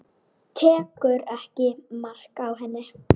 Tekur ekki mark á henni.